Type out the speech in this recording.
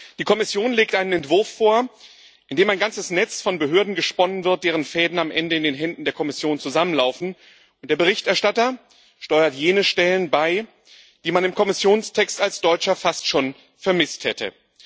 Die Kommission legt einen Entwurf vor, in dem ein ganzes Netz von Behörden gesponnen wird, deren Fäden am Ende in den Händen der Kommission zusammenlaufen, und der Berichterstatter steuert jene Stellen bei, die man im Kommissionstext als Deutscher fast schon vermisst hätte.